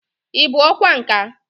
Ị bụ ọkwá nkà?